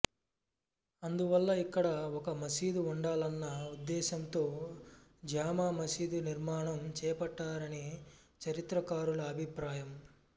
అందువల్ల ఇక్కడ ఒక మసీదు ఉండాలన్న ఉద్దేశ్యంతో జామా మసీదు నిర్మాణం చేపట్టారని చరిత్రకారుల అభిప్రాయం